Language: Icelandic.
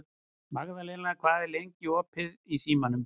Magðalena, hvað er lengi opið í Símanum?